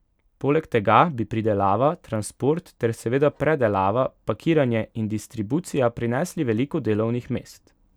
Poleg tega bi pridelava, transport ter seveda predelava, pakiranje in distribucija prinesli veliko delovnih mest.